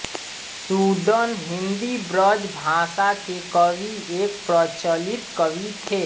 सूदन हिन्दीब्रजभाषा के कवि एक प्रचलित कवि थे